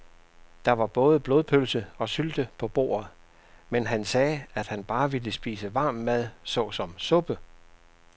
Der var både blodpølse og sylte på bordet, men han sagde, at han bare ville spise varm mad såsom suppe.